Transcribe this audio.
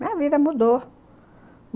Minha vida mudou.